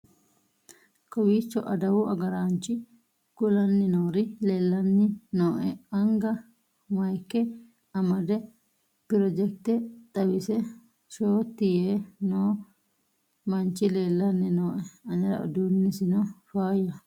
kowiicho adawu agaraanchi kulanni noori leellanni nooe anga mayike amade projekite xawise shooti yee noo manchi leellanni noooe anera uduunnisino fayyaho